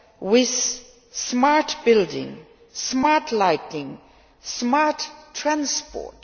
with smart building, smart lighting and smart transport.